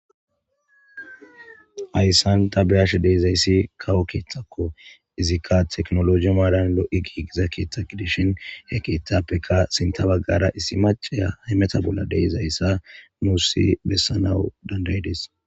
ayssanta beyash deizayssi kawo keeththakko izikka teknoloji maadan lo7i giigiza keeththagidishin he kiethappeka sinta baggara issi maceya hymeta bolla deizayssa muussi bessanawu dandaydes